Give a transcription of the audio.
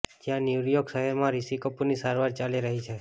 જ્યાં ન્યૂયોર્ક શહેરમાં રિશિ કપૂરની સારવાર ચાલી રહી છે